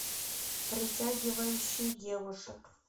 притягивающий девушек